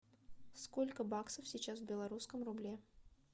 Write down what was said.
сколько баксов сейчас в белорусском рубле